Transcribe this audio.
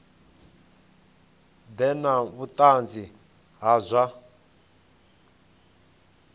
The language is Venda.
ḓe na vhuṱanzi ha zwa